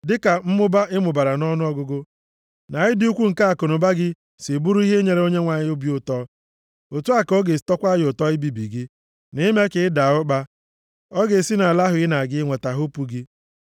Dịka mmụba ị mụbara nʼọnụọgụgụ, na ịdị ukwuu nke akụnụba gị si bụrụ ihe nyere Onyenwe anyị obi ụtọ, otu a ka ọ ga-esi tọkwaa ya ụtọ ibibi gị, na ime ka ị daa ụkpa. Ọ ga-esi nʼala ahụ ị na-aga inweta hopu gị.